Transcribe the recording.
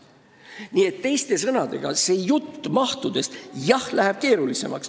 Nii et teiste sõnadega sellest mahujutust – jah, uurimine läheb keerulisemaks.